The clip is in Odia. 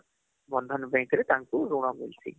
ବନ୍ଧନ bank ରେ ତାଙ୍କୁ ଋଣ ମିଲସି